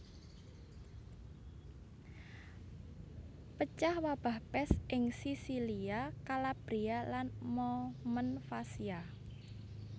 Pecah wabah pès ing Sisilia Kalabria lan Momenvasia